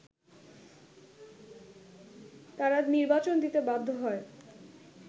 তারা নির্বাচন দিতে বাধ্য হয়